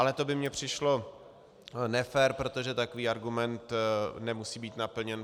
Ale to by mně přišlo nefér, protože takový argument nemusí být naplněn.